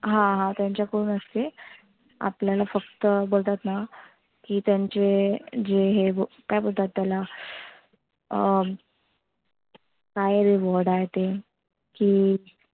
हा हा, त्याच्या कडून असते. आपल्याला फक्त बोलतात ना की त्यांचे जे हे ओ काय बोलतात त्याला अं काय रे word आहे ते? की